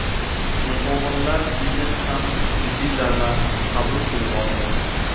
Mehmonxonalar biznesi ham jiddiy zarba qabul qilib oldi.